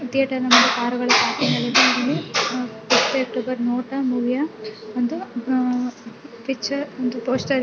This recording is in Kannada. ಥಿಯೇಟರ್ನ ಮುಂದೆ ಕಾರುಗಳು ಪಾರ್ಕಿಂಗ್ ಆಗಿದೆ ಇಲ್ಲಿ ಥರ್ಟಿ ಅಕ್ಟೋಬರ್ ನೋಟ ಮೂವಿಯ ಒಂದು ಅಹ್ ಪಿಕ್ಚರ್ ಒಂದು ಪೋಸ್ಟರ್ --